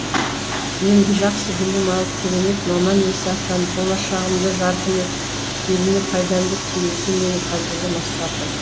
енді жақсы білім алып керемет маман иесі атанып болашағымды жарқын етіп еліме пайдамды тигізу менің қазіргі мақсатым